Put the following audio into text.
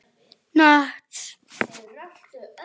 Hún virtist á báðum áttum.